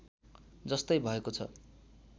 जस्तै भएको छ